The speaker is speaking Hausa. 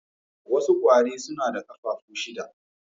Wasu kwari suna da kafafu shida